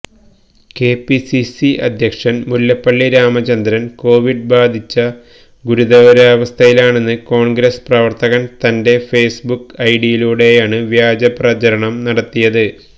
KPCC അധ്യക്ഷൻ Mullappally Ramachandran Covid ബാധിച്ച ഗുരുതരാവസഥയിലാണെന്ന് കോൺഗ്രസ് പ്രവർത്തകൻ തന്റെ ഫെയ്സ് ബുക്ക് ഐഡിയിലൂടെയാണ് വ്യാജപ്രചാരണം നടത്തിയത്